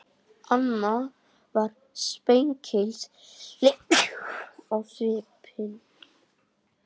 Amma var spekingsleg á svipinn.